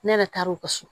Ne yɛrɛ taar'o ka so